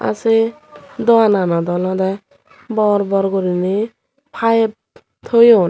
ah se dogananot olodey bor bor goriney payep toyon.